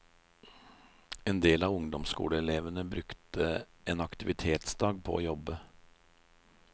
En del av ungdomsskoleelevene brukte en aktivitetsdag på å jobbe.